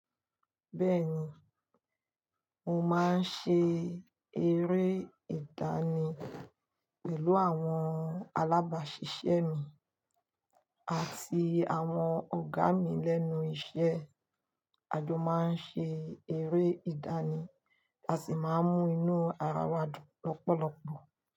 Bẹ́ẹ̀ni, mo máa ń ṣe eré ìdánì pẹ̀lú àwọn alábàáṣiṣẹ́ mi àti àwọn ọ̀gá mi lẹ́nu iṣẹ́. A jọ máa ń ṣe eré ìdánì, a sì máa ń mú inú ara wa dùn lọ́pọ̀lọpọ̀.